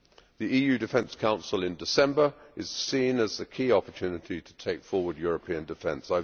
The EU Defence Council in December is seen as the key opportunity to take forward European defence.